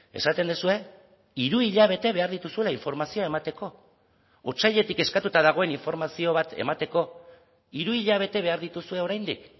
esaten duzue hiru hilabete behar dituzuela informazioa emateko otsailetik eskatuta dagoen informazio bat emateko hiru hilabete behar dituzue oraindik